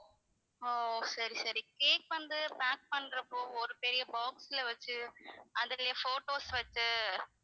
ஓ ஓ சரி சரி cake வந்து pack பண்றப்போ ஒரு பெரிய box ல வச்சு அதுக்குள்ளேயே photos வச்சு